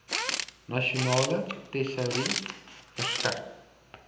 nasionale tesourie verskyn